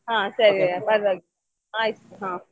ಹಾ ಸರಿ ಪರವಾಗಿಲ್ಲ ಆಯ್ತು ಹಾ.